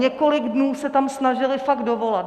Několik dnů se tam snažili fakt dovolat.